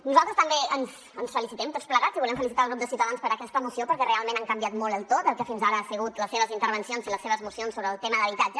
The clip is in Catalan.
nosaltres també ens felicitem tots plegats i volem felicitar el grup de ciutadans per aquesta moció perquè realment han canviat molt el to del que fins ara han sigut les seves intervencions i les seves mocions sobre el tema d’habitatge